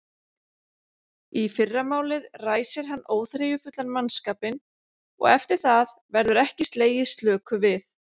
Í fyrramálið ræsir hann óþreyjufullan mannskapinn og eftir það verður ekki slegið slöku við!